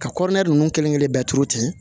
Ka kɔrɔna ninnu kelen kelen bɛɛ turu ten